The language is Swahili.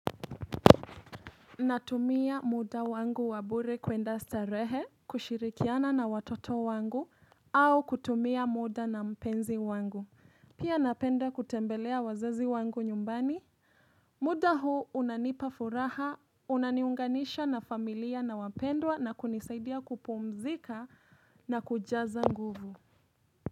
Natumia muda wangu wa bure kwenda starehe, kushirikiana na watoto wangu, au kutumia muda na mpenzi wangu. Pia napenda kutembelea wazazi wangu nyumbani. Muda huu unanipa furaha, unaniunganisha na familia na wapendwa na kunisaidia kupumzika na kujaza nguvu.